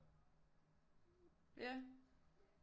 Ja